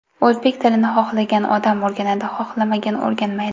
O‘zbek tilini xohlagan odam o‘rganadi, xohlamagan o‘rganmaydi.